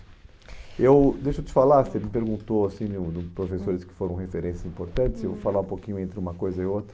eu, deixa eu te falar, você me perguntou assim o dos professores que foram referências importantes, eu vou falar um pouquinho entre uma coisa e outra.